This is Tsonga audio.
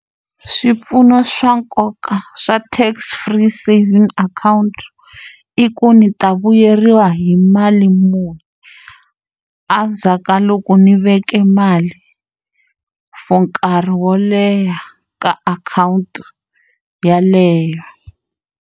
Swipfuno swa nkoka swa tax free savings akhawunti i ku ndzi ta vuyeriwa hi mali muni endzhaku ka loko ndzi veke mali for nkarhi wo leha ka akhawunti yeleyo.